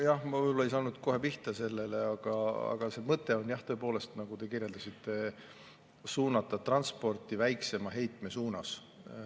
Jah, ma võib-olla ei saanud kohe pihta sellele, aga see mõte on tõepoolest see, nagu te kirjeldasite, et tuleks suunata transporti väiksema heite suunas.